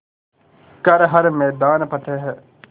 कर हर मैदान फ़तेह